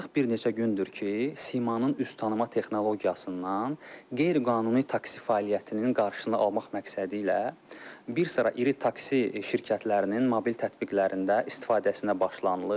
Artıq bir neçə gündür ki, simanın üz tanıma texnologiyasından qeyri-qanuni taksi fəaliyyətinin qarşısını almaq məqsədilə bir sıra iri taksi şirkətlərinin mobil tətbiqlərində istifadəsinə başlanılıb.